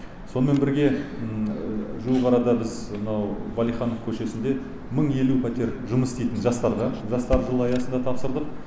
сонымен бірге жуық арада біз мынау валиханов көшесінде мың елу пәтер жұмыс істейтін жастарға жастар жылы аясында тапсырдық